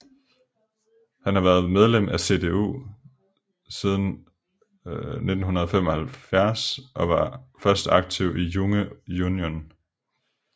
Han har været medlem af CDU siden 1975 og var først aktiv i Junge Union